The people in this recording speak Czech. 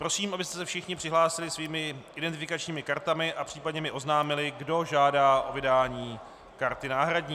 Prosím, abyste se všichni přihlásili svými identifikačními kartami a případně mi oznámili, kdo žádá o vydání karty náhradní.